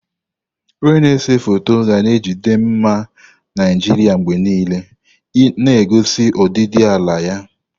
Onye na-ese foto ga na-ejide mma Naijiria mgbe niile, na-egosi ọdịdị ala ya.